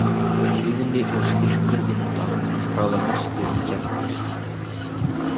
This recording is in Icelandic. Tíðni og styrkur vinda ráða mestu um gæftir.